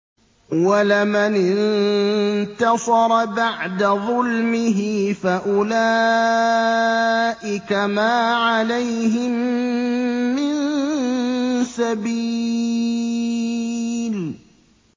وَلَمَنِ انتَصَرَ بَعْدَ ظُلْمِهِ فَأُولَٰئِكَ مَا عَلَيْهِم مِّن سَبِيلٍ